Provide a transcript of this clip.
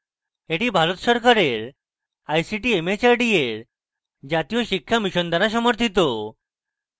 এটি ভারত সরকারের ict mhrd এর জাতীয় শিক্ষা mission দ্বারা সমর্থিত